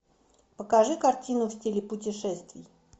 покажи картину в стиле путешествий